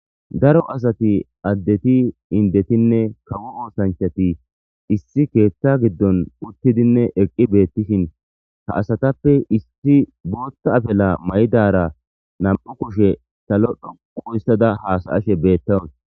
daro asati addeti indetinne kawu oosanchati issi keetta giddon uttidinne eqqi beettishin ha asatappe issi bootha afela mayidara nam'u kushe salo dhoqu histada haasa'ashe beettawus